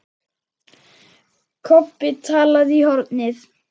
Kobbi talaði í hornið.